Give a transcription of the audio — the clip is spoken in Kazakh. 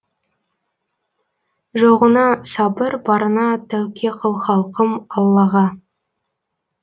жоғыңа сабыр барыңа тәуке қыл халқым аллаға